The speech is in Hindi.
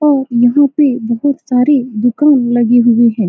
और यहाँ पे बहुत सारे दूकान लगे हुए है।